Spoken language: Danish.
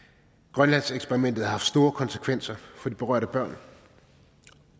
grønlandseksperimentet har haft store konsekvenser for de berørte børn